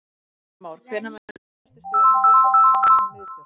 Heimir Már: Hvenær munu ykkar æðstu stjórnir hittast eins og miðstjórn?